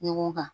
Ɲɔgɔn kan